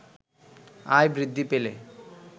আয় বৃদ্ধি পেলে